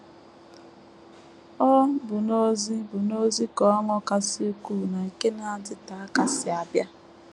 Ọ bụ n’ozi bụ n’ozi ka ọṅụ kasị ukwuu na nke na - adịte aka si abịa. ”